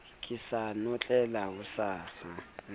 ke sa notlela o sa